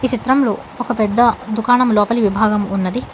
ఈ చిత్రంలో ఒక పెద్ద దుకాణం లోపలి విభాగం ఉన్నది.